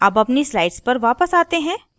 अब अपनी slide पर वापस आते हैं